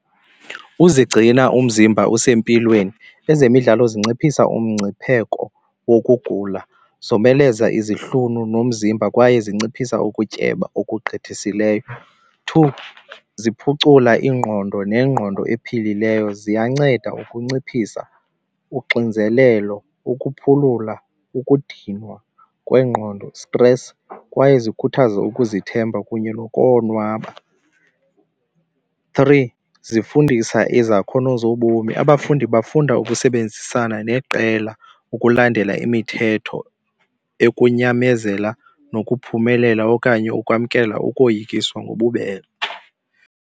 Uzigcina umzimba usempilweni. Ezemidlalo zinciphisa umngcipheko wokugula, zomeleza izihlunu nomzimba kwaye zinciphisa ukutyeba okugqithisileyo. Two, ziphucula ingqondo nengqondo ephilileyo. Ziyanceda ukunciphisa uxinzelelo, ukuphulula ukudinwa kwengqondo stress kwaye zikhuthaze ukuzithemba kunye nokonwaba. Three, zifundisa izakhono zobomi. Abafundi bafunda ukusebenzisana neqela ukulandela imithetho ekunyamezela nokuphumelela okanye ukwamkela ukoyiswa ngobubele.